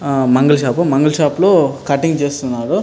ఆ మంగళ షాప్ . మంగళ షాప్ లో కటింగ్ చేస్తున్నారు.